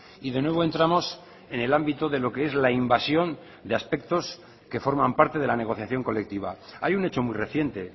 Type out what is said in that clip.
y de nuevo entramos en el ámbito de lo que es la invasión de aspectos que forman parte de la negociación colectiva hay un hecho muy reciente